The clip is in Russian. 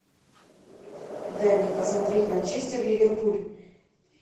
дай мне посмотреть манчестер ливерпуль